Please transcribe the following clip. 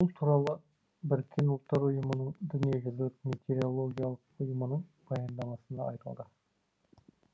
бұл туралы біріккен ұлттар ұйымының дүниежүзілік метеорологиялық ұйымының баяндамасында айтылды